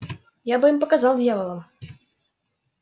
я бы им показал дьяволам